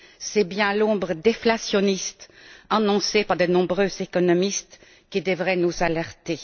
C'est bien l'ombre déflationniste, annoncée par de nombreux économistes, qui devrait nous alerter.